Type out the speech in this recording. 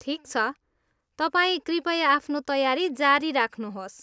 ठिक छ, तपाईंँ कृपया आफ्नो तयारी जारी राख्नुहोस्।